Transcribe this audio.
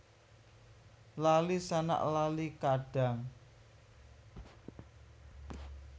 Lali sanak lali kadang